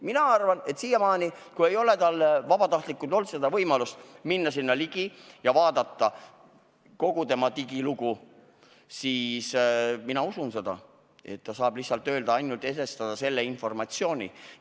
Mina arvan, et kui siiamaani ei ole vabatahtlikul olnud võimalust minna sinna ligi ja vaadata teise inimese kogu digilugu, siis ma usun, et ta saabki edastada ainult seda piiratud informatsiooni.